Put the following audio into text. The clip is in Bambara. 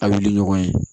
A wili ɲɔgɔn ye